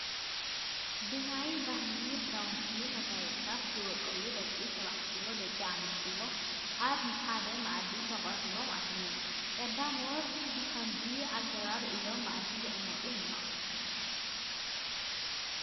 ብናይ ባህሊ ክዳውንትን መጋየፅታት ዝወቀቡ ደቂ ተባዕትዮን ደቂ ኣንስትዮን ኣብ ሓደ መኣዲ ተቐሪቦም ኣለዉ፡፡ ቀዳሞት ብኸምዚ ኣገባብ እዮም መኣዲ ይቕመጡ ነይሮም፡፡